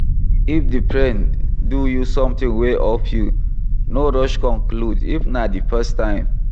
If di friend do you something wey off you, no rush conclude if na di first time